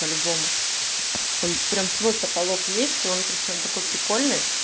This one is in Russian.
по-любому он прямо свой потолок есть и он причём такой прикольный